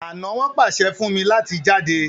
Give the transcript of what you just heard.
ana won pase fún mí láti jáde.